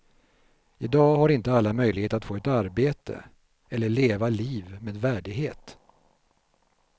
I dag har inte alla möjlighet att få ett arbete, eller leva liv med värdighet.